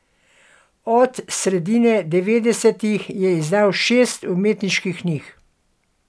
Od sredine devetdesetih je izdal še šest umetniških knjig.